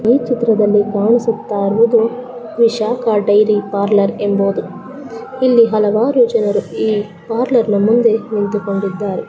Hello ಇದು ಮಾಡಿ hello ಮುಂದೆ ನಿಂತುಕೊಂಡಿದ್ದಾರೆ ಎಲ್ಲಿ ಐದು ಹೂಂ ಯಾರು ತುಂಬಾ ದೊಡ್ಡದು ಯಾರು ತುಂಬಾ ದೊಡ್ಡದು ಗೋ ಟು ಪಾರ್ಟ್ಲಾಗಿದೆ.